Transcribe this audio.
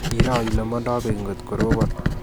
Iroo ile mandoi beek ngot korobon